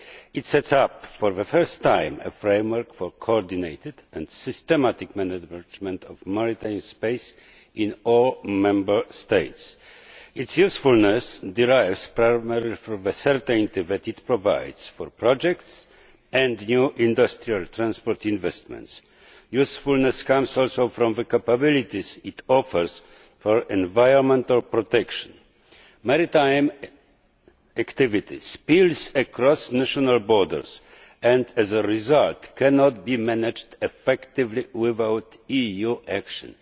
It sets up, for the first time, a framework for coordinated and systematic management of maritime space in all Member States. Its usefulness derives primarily from the certainty that it provides for projects and new industrial transport investments. Usefulness comes also from the capabilities it offers for environmental protection. Maritime activity spills across national borders and, as a result, cannot be managed effectively without EU action.